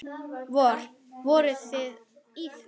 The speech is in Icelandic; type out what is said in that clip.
Vor, voruð þið í því?